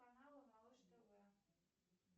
канал малыш тв